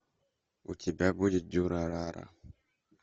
у тебя будет дюрарара